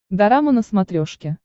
дорама на смотрешке